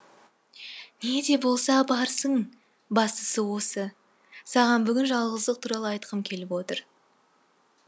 не де болса барсың бастысы осы саған бүгін жалғыздық туралы айтқым келіп отыр